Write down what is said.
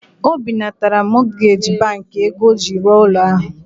O binatara mọtgeji bankị ego ọ ji rụọ ụlọ ahụ.